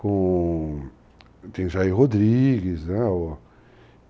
Com... Tem Jair Rodrigues, né?